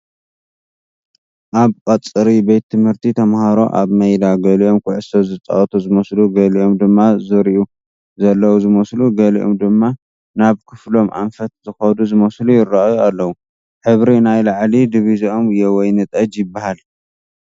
ኣብ ቐፅሪ ቤት ት/ቲ ተመሃሮ ኣብ መይዳ ገሊኦም ኩዕሶ ዝፃወቱ ዝመስሉ ገሊኦም ድማ ዝሪኡ ዘለዉ ዝመስሉ ገሊኦም ድማ ናብ ክፍሎም ኣንፈት ዝኸዱ ዝመስሉ ይረኣዩ ኣለዉ ፡ሕብሪ ናይ ላዕሊ ድብዚኦም የወይን ጠጅ ይበሃል ።